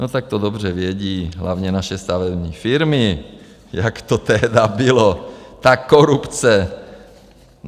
No tak to dobře vědí hlavně naše stavební firmy, jak to tehdy bylo ta korupce.